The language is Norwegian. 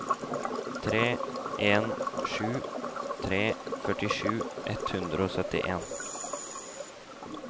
tre en sju tre førtisju ett hundre og syttien